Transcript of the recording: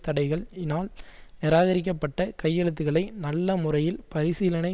தடைகள் யினால் நிராகரிக்கப்பட்ட கையெழுத்துக்களை நல்ல முறையில் பரிசீலனை